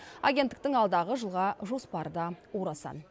агенттіктің алдағы жылға жоспары да орасан